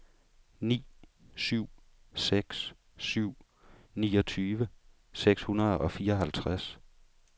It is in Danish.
ni syv seks syv niogtyve seks hundrede og fireoghalvtreds